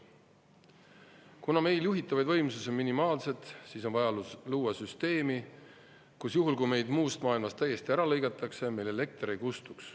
Kuna meil juhitavaid võimsusi on minimaalselt, siis on vaja luua süsteemi, kus juhul, kui meid muust maailmast täiesti ära lõigatakse, meil elekter ei kustuks.